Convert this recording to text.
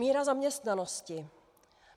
Míra zaměstnanosti.